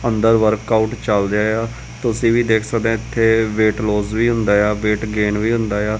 ਅੰਦਰ ਵਰਕਆਊਟ ਚੱਲ ਰਿਹਾ ਆ ਤੁਸੀਂ ਵੀ ਦੇਖ ਸਕਦੇ ਇਥੇ ਵੇਟ ਲੋਸ ਵੀ ਹੁੰਦਾ ਆ ਵੇਟ ਗੇਨ ਵੀ ਹੁੰਦਾ ਆ।